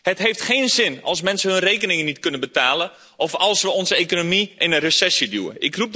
Het heeft geen zin als mensen hun rekeningen niet kunnen betalen of als we onze economie in een recessie duwen.